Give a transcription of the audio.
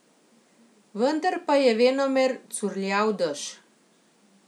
Vendar pa je venomer curljal dež.